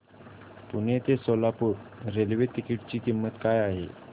पुणे ते Solapur railway ticket ची किंमत काय आहे